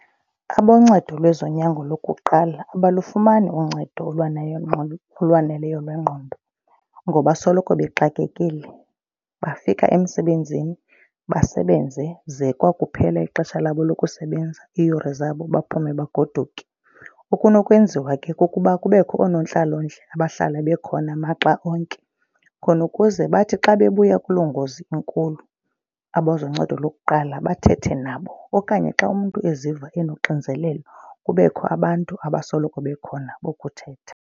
Aboncedo lwezonyango lokuqala abalufumani uncedo olwaneleyo lwengqondo ngoba soloko bexakekile. Bafika emsebenzini, basebenze ze kwakuphela ixesha labo lokusebenza iiyure zabo baphume bagoduke. Okunokwenziwa ke kukuba kubekho oonontlalontle abahlala bekhona maxa onke khona ukuze bathi xa bebuya kuloo ngozi enkulu abazoncedo lokuqala bathethe nabo. Okanye xa umntu eziva enonxinzelelo kubekho abantu abasoloko bekhona bokuthetha.